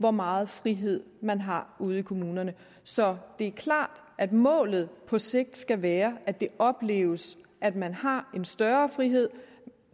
hvor meget frihed man har ude i kommunerne så det er klart at målet på sigt skal være at det opleves at man har en større frihed